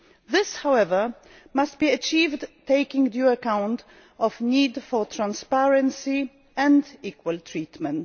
This, however, must be achieved taking due account of the need for transparency and equal treatment.